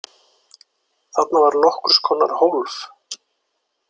Þarna var nokkurs konar hólf.